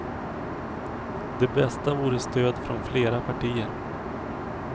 Det bästa vore stöd från flera partier.